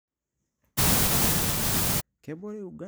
Kebore Uganda impukunot kumok oo nguesi.